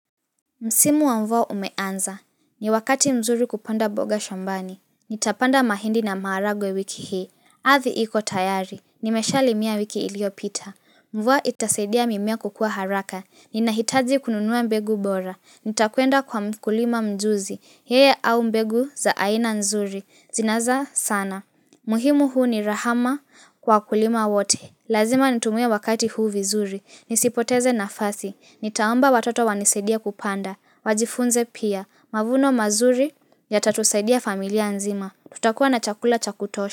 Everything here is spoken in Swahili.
Msimu wa mvua umeanza. Ni wakati mzuri kupanda boga shambani. Nitapanda mahindi na maharagwe wiki hii. Adhi iko tayari. Nimeshali mia wiki ilio pita. Mvua itasadia mimea kukua haraka. Ninahitaji kununua mbegu bora. Nitakuenda kwa mkulima mjuzi. Yeye au mbegu za aina nzuri. Zinaza sana. Muhimu huu ni rahama kwa kulima wote. Lazima nitumie wakati huu vizuri. Nisipoteze nafasi. Nitaamba watoto wanisaide kupanda. Wajifunze pia. Mavuno mazuri ya tatusadia familia nzima. Tutakuwa na chakula chakutosha.